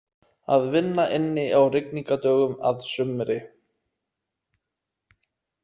Að vinna inni á rigningardögum að sumri.